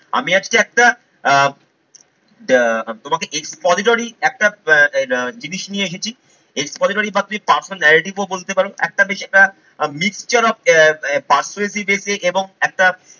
আমি আজকে একটা আহ তোমাকে expository একটা আহ জিনিস নিয়ে এসেছি। expository মানে personal narrative বলতে পারো একটা বেশ একটা mixture of আহ persuasive essay এবং একটা